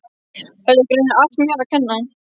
Þetta var greinilega allt mér að kenna.